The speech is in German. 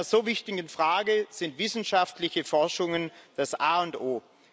Bei einer so wichtigen Frage sind wissenschaftliche Forschungen das A und O.